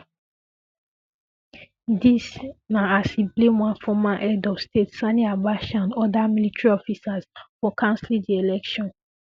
dis na as e blame one former head of state sani abacha and oda military officers for cancelling di election